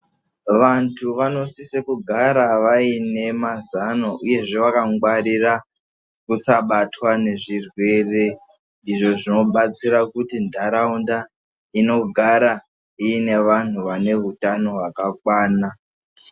Vantu vanosise kugara vaine mazano uyezve vakangwarira kusabatwa nezvirwere izvo zvinobatsira kuti ndaraunda inogara iine vanhu vane hutano kwakakwana.